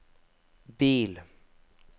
bil